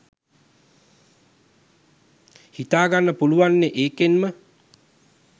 හිතාගන්න පුළුවන්නෙ ඒකෙන්ම